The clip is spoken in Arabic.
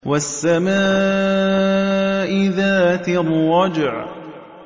وَالسَّمَاءِ ذَاتِ الرَّجْعِ